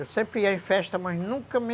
Eu sempre ia em festa, mas nunca me...